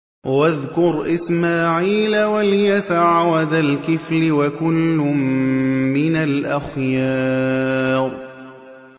وَاذْكُرْ إِسْمَاعِيلَ وَالْيَسَعَ وَذَا الْكِفْلِ ۖ وَكُلٌّ مِّنَ الْأَخْيَارِ